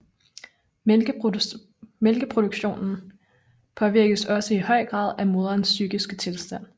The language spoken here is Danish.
Mælkeproduktionen påvirkes også i høj grad af moderens psykiske tilstand